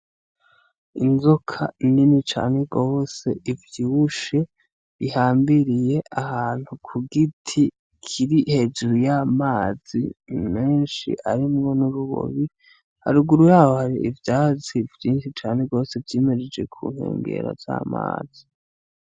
Inzoka nini cane gose ivyibushe ihambiriye ahantu kugiti kiri hejuru y'amazi menshi arimwo nurubobi haruguru yaho hari ivyatsi vyinshi cane gose vyimejeje ku nkengera z'amazi.